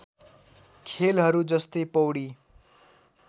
खेलहरू जस्तै पौडी